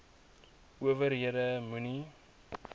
ower hede moenie